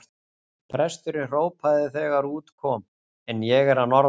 Presturinn hrópaði þegar út kom:-En ég er að norðan!